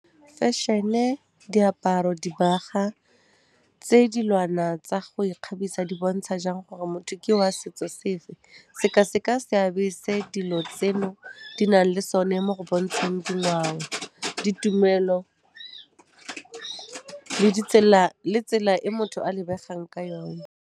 Fashion-e, diaparo dibaga, tse dilwana tsa go ikgabisa di bontsha jang gore motho ke wa setso sefe? Seka-seka seabe se dilo tseno di nang le sone mo go bontsheng dingwao, ditumelo le tsela e motho a lebegang ka yone